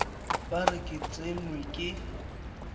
ba re ke tsenwe ke